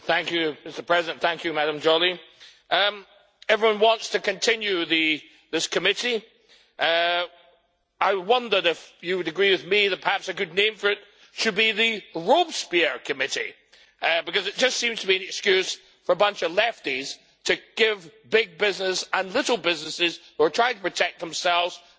Madam Joly, everyone wants to continue this committee. I wondered if you would agree with me that perhaps a good name for it should be the Robespierre committee', because it just seems to be an excuse for a bunch of lefties to give big business and little businesses who are trying to protect themselves a good kicking.